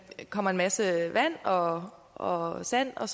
kommer en masse vand og og sand og